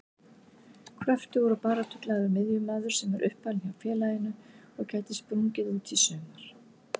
Kröftugur og baráttuglaður miðjumaður sem er uppalinn hjá félaginu og gæti sprungið út í sumar.